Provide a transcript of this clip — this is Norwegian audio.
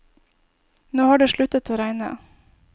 Nå har det sluttet å regne.